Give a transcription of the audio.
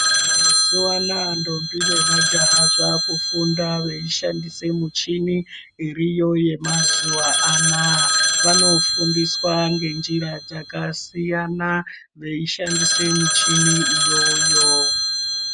Mazuwa anaya ntombi nemajaha zvaakufunda veishandise michini iriyo yemazuwa anaya, vanofundiswa ngenjira dzakasiyana veishandise michini iyoyo.